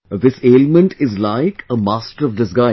This ailment is like a master of disguise